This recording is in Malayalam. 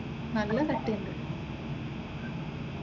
നല്ല കട്ടിയുണ്ട്.